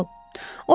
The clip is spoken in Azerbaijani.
Hansı bal?